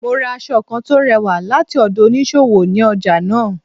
Mo ra aṣọ kán tò rẹ̀wà lati ọdọ oniṣowo, ní ọja naa.